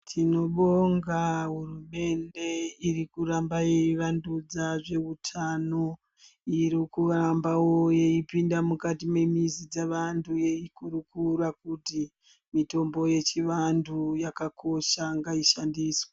Tinobonga hurumende iri kuramba yeivandudza zvehutano iri kurambawo yeipinda mukati memizi dzevantu yeikurukura kuti mitombo yechivantu yakakosha ngaushandiswe.